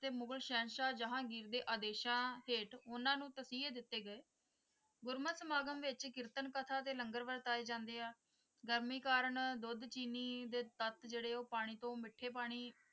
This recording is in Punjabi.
ਤੇ ਮੁਗ਼ਲ ਸਹਿਨਸ਼ਾਹ ਜਹਾਂਗੀਰ ਦੇ ਆਦੇਸ਼ਾਂ ਹੇਠ ਉਨ੍ਹਾਂ ਨੂੰ ਤਸੀਹੇ ਦਿੱਤੇ ਗਏ ਗੁਰਮਤਿ ਸਮਾਗਮ ਵਿੱਚ ਕੀਰਤਨ ਕਥਾ ਤੇ ਲੰਗਰ ਵਰਤਾਏ ਜਾਂਦੇ ਹੈ ਗਰਮੀ ਕਾਰਨ ਦੁੱਧ ਚਿੰਨੀ ਦੇ ਤੱਤ ਜਿਹੜੇ ਉਹ ਪਾਣੀ ਤੋਂ ਮਿੱਠੇ ਪਾਣੀ,